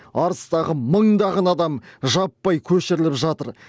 арыстағы мыңдаған адам жаппай көшіріліп жатыр